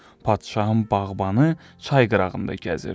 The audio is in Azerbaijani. Padşahın bağbanı çay qırağında gəzirdi.